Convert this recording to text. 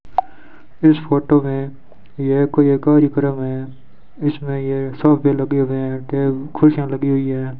इस फोटो में यह कोई एक कार्यक्रम है इसमें यह सोफे लगे हुए हैं कुर्सियां लगी हुई है।